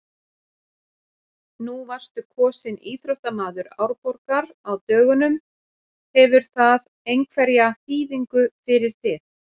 Nú varstu kosinn íþróttamaður Árborgar á dögunum, hefur það einhverja þýðingu fyrir þig?